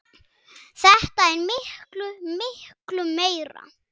Þetta er miklu, miklu meira.